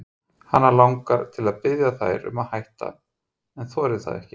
Hana langar til að biðja þær um að hætta en þorir það ekki.